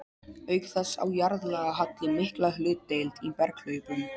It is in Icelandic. Auk þess á jarðlagahalli mikla hlutdeild í berghlaupum.